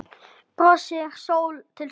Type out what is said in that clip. Brosir sól til sólar.